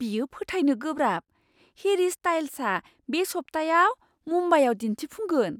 बेयो फोथायनो गोब्राब, हेरी स्टाइल्सआ बे सप्तायाव मुम्बाइआव दिन्थिफुंगोन!